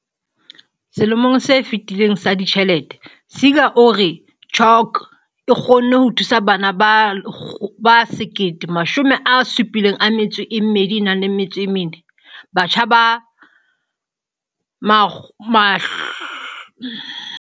Selemong se fetileng sa ditjhelete, Seegers o re CHOC e kgonne ho thusa bana ba 1 724, batjha ba 553 le batho ba baholo ba 2 232 ka mananeo a yona a mantlha.